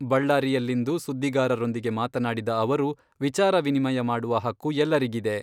ಬಳ್ಳಾರಿಯಲ್ಲಿಂದು ಸುದ್ದಿಗಾರರೊಂದಿಗೆ ಮಾತನಾಡಿದ ಅವರು, ವಿಚಾರ ವಿನಿಮಯ ಮಾಡುವ ಹಕ್ಕು ಎಲ್ಲರಿಗಿದೆ.